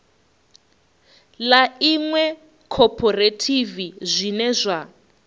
ḽa iṅwe khophorethivi zwine zwa